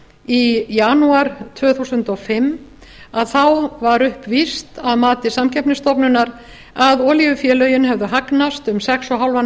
í janúar tvö þúsund og fimm var upplýst að mati samkeppnisstofnunar að olíufélögin hefðu hagnast um sex og hálfan